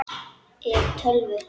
ef. tölvu